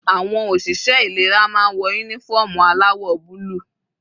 Àwọn òṣìṣẹ́ ìlera máa ń wọ uniform aláwọ̀ búlù.